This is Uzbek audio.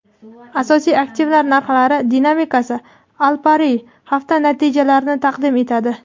asosiy aktivlar narxlari dinamikasi - Alpari hafta natijalarini taqdim etadi.